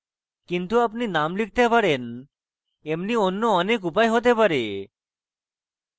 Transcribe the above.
কিন্তু আপনি names লিখতে পারেন এমনি অন্য অনেক উপায় হতে পারে